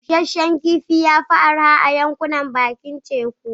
Busasshen kifi ya fi arha a yankunan bakin teku.